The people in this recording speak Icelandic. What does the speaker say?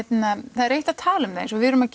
það er eitt að tala um það eins og við erum að